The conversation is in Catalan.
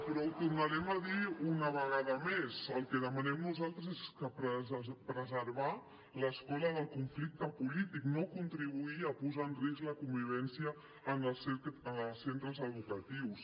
però ho tornarem a dir una vegada més el que demanem nosaltres és preservar l’escola del conflicte polític no contribuir a posar en risc la convivència en els centres educatius